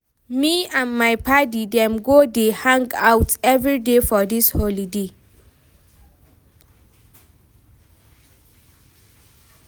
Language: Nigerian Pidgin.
Me and my paddy dem go dey hang-out everyday for dis holiday.